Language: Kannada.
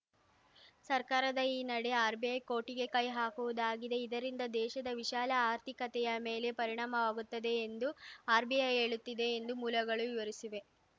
ಸರ್ಕಾರದ ಈ ನಡೆ ಆರ್‌ಬಿಐ ಕೋಠಿಗೆ ಕೈ ಹಾಕುವುದಾಗಿದೆ ಇದರಿಂದ ದೇಶದ ವಿಶಾಲ ಆರ್ಥಿಕತೆಯ ಮೇಲೆ ಪರಿಣಾಮವಾಗುತ್ತದೆ ಎಂದು ಆರ್‌ಬಿಐ ಹೇಳುತ್ತಿದೆ ಎಂದು ಮೂಲಗಳು ವಿವರಿಸಿವೆ